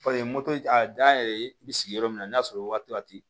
moto a dan yɛrɛ ye i bɛ sigi yɔrɔ min na n'a y'a sɔrɔ waati la ten